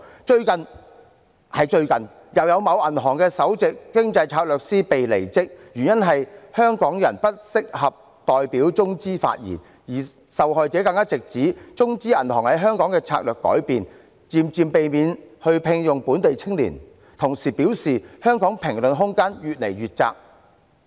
最近——就是最近——又有某銀行的首席經濟策略師"被離職"，原因是香港人不適合代表中資發言，而受害者更直指中資銀行在香港的策略改變，漸漸避免聘用本地青年，同時表示香港的評論空間越來越窄。